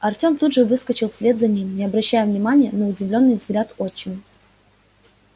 артем тут же выскочил вслед за ним не обращая внимания на удивлённый взгляд отчима